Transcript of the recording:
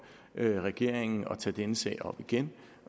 regeringen at tage denne sag op igen